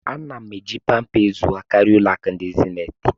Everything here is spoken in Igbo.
A na m eji Pâmpé azụahịa karịa Ụlọ akụ ndị zenith